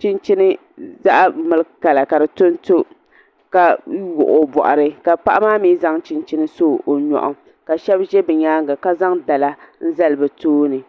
chinchini zaɣ'miliki kala ka di tonto ka wuɣi o bɔɣiri ka paɣa maa mi zaŋ chinchini so o nyɔɣu ka shɛba ʒe bɛ nyaaŋa ka zaŋ dala n-zali bɛ tooni.